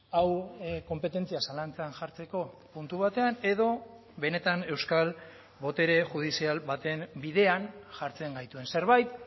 hau konpetentzia zalantzan jartzeko puntu batean edo benetan euskal botere judizial baten bidean jartzen gaituen zerbait